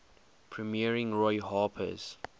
premiering roy harper's